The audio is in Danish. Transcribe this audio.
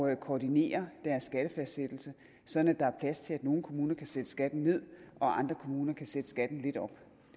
at koordinere deres skattefastsættelse sådan at der er plads til at nogle kommuner kan sætte skatten ned og andre kommuner kan sætte skatten lidt op